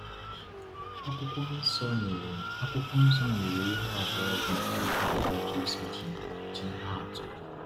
Akwụkwọ Nsọ nyere Akwụkwọ Nsọ nyere ihe abụọ dị mkpa kpatara Jésù ji eji ihe atụ.